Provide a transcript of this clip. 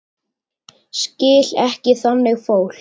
Skil ekki þannig fólk.